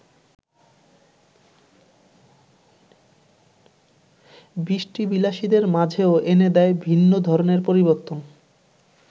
বৃষ্টিবিলাসীদের মাঝেও এনে দেয় ভিন্ন ধরনের পরিবর্তন।